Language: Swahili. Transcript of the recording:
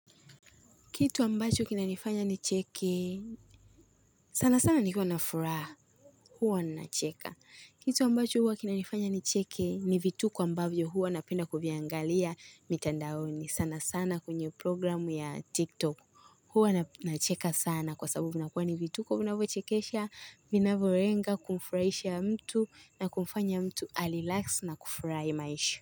Kitu ambacho kinanifanya nicheki, sana sana nikuwa na furaha, huwa na nacheka. Kitu ambacho huwa kinanifanya nicheki, ni vituko ambavyo huwa napenda kuviangalia mitandaoni. Sana sana kwenye programu ya TikTok, huwa na nacheka sana kwa sababu vinakua ni vitu kwa vinavyochekesha, vinavyolenga, kumfurahisha mtu na kumfanya mtu alirelax na kufurahi maisha.